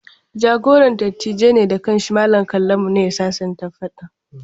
Jagoran dattijan ne da kan shi, Mallam Kallamu, ne ya sasanta faɗan.